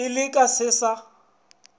ee le ka se sa